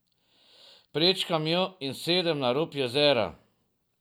Prečkam jo in sedem na rob jezera.